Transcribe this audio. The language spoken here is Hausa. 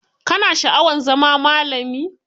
Ka na sha'awar zama malami?